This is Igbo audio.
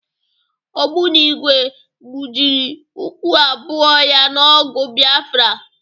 Ogbonigwe gbụjiri ụkwụ abụọ ya n'ọgụ Biafra.